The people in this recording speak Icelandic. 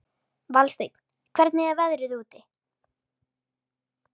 Valsteinn, hvernig er veðrið úti?